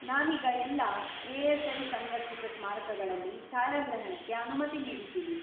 ನಾವೀಗ ಎಲ್ಲಾ ಎ.ಎಸ್.ಐ. ಸಂರಕ್ಷಿತ ಸ್ಮಾರಕಗಳಲ್ಲಿ ಛಾಯಾಗ್ರಹಣಕ್ಕೆ ಅನುಮತಿ ನೀಡಿದ್ದೀವಿ.